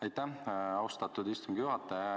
Aitäh, austatud istungi juhataja!